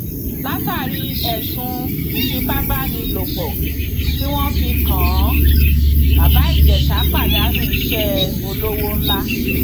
látàrí ẹsùn ìfipábánilòpọ tí wọn fi kàn án bàbá ìjèṣà pàdánù iṣẹ olówó ńlá